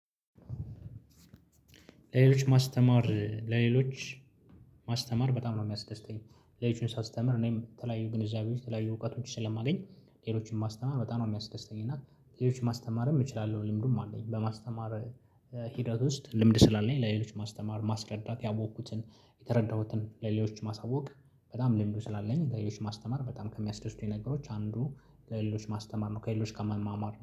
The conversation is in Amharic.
ለሌሎች ማስተማር ለሌሎች በጣም ነው የሚያስደስተኝ። ሌሎችን ሳስተምር እኔም ተለያዩ ግንዛቤዎች ተለያዩ እውቀቶች ስለማገኝ ሌሎችን ማስተማር በጣም ነው የሚያስደስተኝ። እና ሌሎችን ማስተማርም እችላለሁ ልምዱም አለኝ። በማስተማር ሂደት ውስጥ ልምድ ስላለኝ ለሌሎች ማስተማር ማስረዳት ያወቅኩትን የተረዳሁትን ለሌሎች ማሳወቅ። በጣም ልምዱ ስላለኝ ሌሎች ማስተማር በጣም ከሚያስደስቱኝ ነገሮች አንዱ ለሌሎች ማስተማር ነው። ከሌሎች ከመማማር